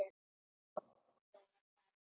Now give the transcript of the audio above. Áfram, segja þær.